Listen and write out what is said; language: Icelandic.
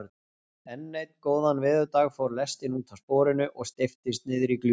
En einn góðan veðurdag fór lestin útaf sporinu og steyptist niðrí gljúfur.